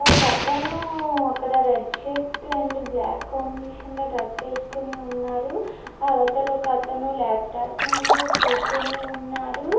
ఒక అతను అక్కడ red shirt and black combination లో డ్రెస్ వేసుకొని ఉన్నారు. అవతల ఒక అతను లాప్టాప్ ముందు కూర్చొని ఉన్నారు.